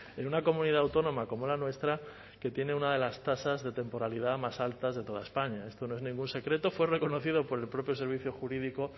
en una comunidad autónoma como la nuestra que tiene una de las tasas de temporalidad más altas de toda españa esto no es ningún secreto fue reconocido por el propio servicio jurídico